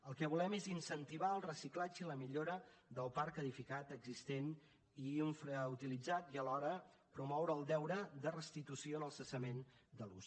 el que volem és incentivar el reciclatge i la millora del parc edificat existent i infrautilitzat i alhora promoure el deure de restitució en el cessament de l’ús